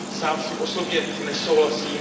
Sám s tím osobně nesouhlasím.